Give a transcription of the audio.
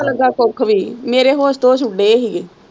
ਕੁੱਝ ਵੀ ਮੇਰੇ ਹੋਸ਼ ਤੇ ਹੋਸ਼ ਉੱਡੇ ਦੇ ਹੀ ਗੇ।